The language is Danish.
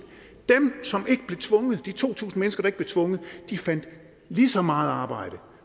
de to tusind mennesker der ikke blev tvunget fandt lige så meget arbejde